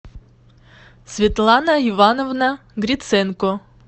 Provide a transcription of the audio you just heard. светлана ивановна гриценко